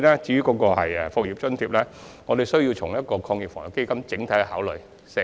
至於"復業津貼"，我們需要從防疫抗疫基金的角度作整體考慮。